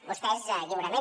vostès lliurement